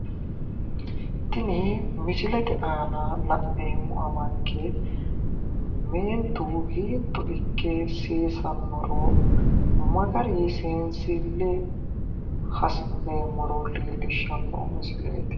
tini misilete aana la'neemmo amanke meentu hiitto ikke seesannoro magarinni seensille hasi'neemmoro leellishshanno misileeti.